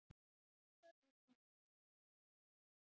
Rússar og Íslendingar ræða orkumál